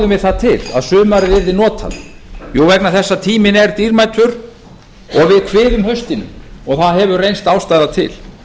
við það til að sumarið yrði notað vegna þess að tíminn er dýrmætur og við kviðum haustinu og það hefur reynst ástæða til